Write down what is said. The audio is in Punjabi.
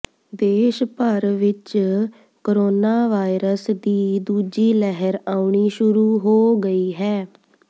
ਦੇਸ਼ ਭਰ ਵਿਚ ਕੋਰੋਨਾਵਾਇਰਸ ਦੀ ਦੂਜੀ ਲਹਿਰ ਆਉਣੀ ਸ਼ੁਰੂ ਹੋ ਗਈ ਹੈ